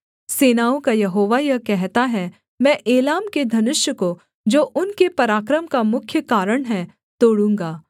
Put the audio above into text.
सेनाओं का यहोवा यह कहता है मैं एलाम के धनुष को जो उनके पराक्रम का मुख्य कारण है तोड़ूँगा